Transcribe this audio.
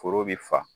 Foro bɛ fa